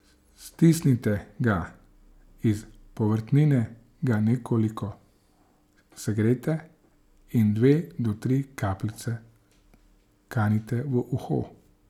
Stisnite ga iz povrtnine, ga nekoliko segrejte in dve do tri kapljice kanite v uho.